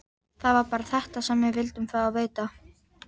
Það var bara þetta sem við vildum fá að vita.